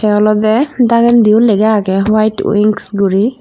olodey dagendi yo lega agey white wings guri.